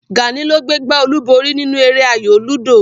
Gàní ló gbé gbá olúborí nínú eré ayò lúdò